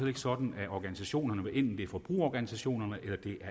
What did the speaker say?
ikke sådan af organisationerne hvad enten det er forbrugerorganisationerne